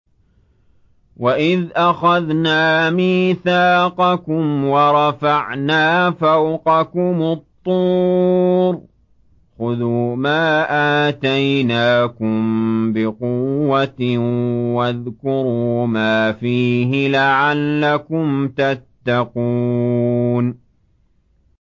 وَإِذْ أَخَذْنَا مِيثَاقَكُمْ وَرَفَعْنَا فَوْقَكُمُ الطُّورَ خُذُوا مَا آتَيْنَاكُم بِقُوَّةٍ وَاذْكُرُوا مَا فِيهِ لَعَلَّكُمْ تَتَّقُونَ